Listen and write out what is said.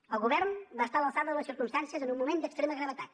el govern va estar a l’alçada de les circumstàncies en un moment d’extrema gravetat